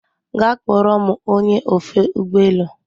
Gaa kpọrọ m ony! e ofe ụgbọ elu